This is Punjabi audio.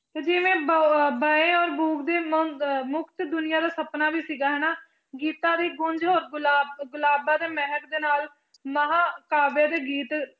ਤੇ ਜਿਵੇਂ ਮੁਕਤ ਦੁਨੀਆਂ ਦਾ ਸਪਨਾ ਵੀ ਸੀਗਾ ਹਨਾ, ਗੀਤਾਂ ਦੀ ਗੂੰਝ ਹੋਰ ਗੁਲਾਬ ਗੁਲਾਬਾਂ ਦੇ ਮਹਿਕ ਦੇ ਨਾਲ ਮਹਾਂਕਾਵਿ ਦੇ ਗੀਤ